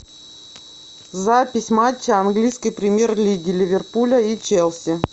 запись матча английской премьер лиги ливерпуля и челси